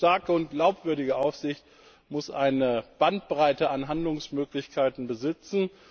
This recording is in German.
Eine starke und glaubwürdige Aufsicht muss eine Bandbreite an Handlungsmöglichkeiten besitzen.